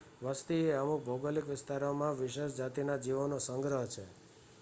વસ્તી એ અમુક ભૌગોલિક વિસ્તારમાં વિશેષ જાતિના જીવોનો સંગ્રહ છે